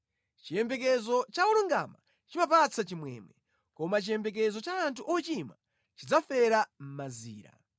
Chiyembekezo cha olungama chimapatsa chimwemwe, koma chiyembekezo cha anthu ochimwa chidzafera mʼmazira.